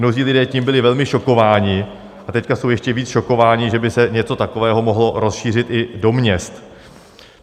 Mnozí lidé tím byli velmi šokováni a teď jsou ještě více šokováni, že by se něco takového mohlo rozšířit i do měst.